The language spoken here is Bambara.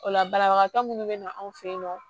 O la banabagatɔ minnu bɛ na anw fe yen nɔ